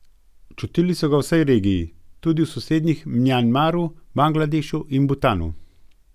Čutili so ga v vsej regiji, tudi v sosednjih Mjanmaru, Bangladešu in Butanu.